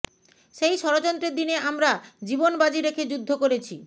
সেই ষড়যন্ত্রের দিনে আমরা জীবনবাজী রেখে যুদ্ধ করেছি